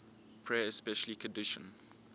prayer especially kiddushin